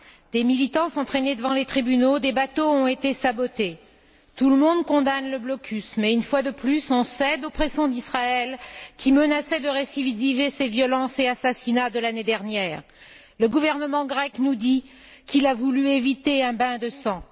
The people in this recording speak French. Des militants sont traînés devant les tribunaux, des bateaux ont été sabotés. Tout le monde condamne le blocus, mais une fois de plus, on cède aux pressions d'Israël qui menaçait de récidiver ses violences et ses assassinats de l'année dernière. Le gouvernement grec nous dit qu'il a voulu éviter un bain de sang.